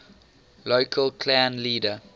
local clan leader